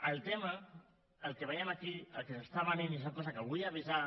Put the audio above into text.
el tema el que veiem aquí el que es ven i és una cosa de què vull avisar